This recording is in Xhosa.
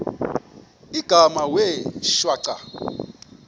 igama wee shwaca